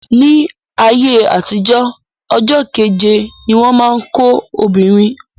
Ní ayé àtijó, ọjọ́ keje ni wọ́n má ń kó ọmọbìnrin.